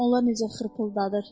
Onlar necə xırpıldadır.